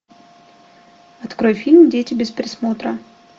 открой фильм дети без присмотра